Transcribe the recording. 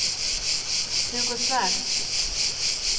Hugo Svärd